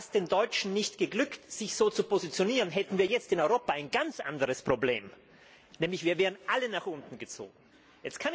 Wäre es den Deutschen nicht geglückt, sich so zu positionieren, hätten wir jetzt in Europa ein ganz anderes Problem, wir wären nämlich alle nach unten gezogen worden.